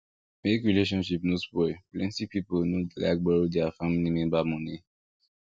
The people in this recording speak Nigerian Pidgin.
make relationship no spoil plenty people no dey like borrow their family member money